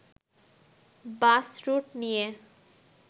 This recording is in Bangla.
বাস রুট নিয়ে